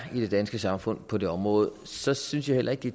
i det danske samfund på det område så synes jeg heller ikke